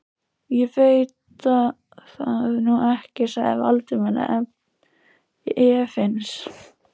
Ég veit það nú ekki sagði Valdimar efins.